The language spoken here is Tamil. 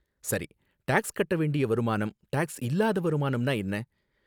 சரி, டாக்ஸ் கட்ட வேண்டிய வருமானம், டாக்ஸ் இல்லாத வருமானம்னா என்ன?